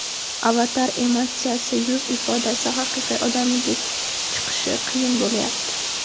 Avatar emotsiyasi, yuz ifodasi haqiqiy odamnikidek chiqishi qiyin bo‘layapti.